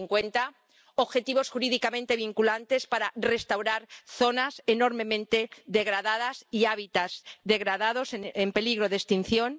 2050 objetivos jurídicamente vinculantes para restaurar zonas enormemente degradadas y hábitats degradados en peligro de extinción.